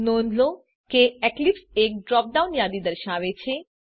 નોંધ લો કે એક્લીપ્સ એક ડ્રોપ ડાઉન યાદી દર્શાવે છે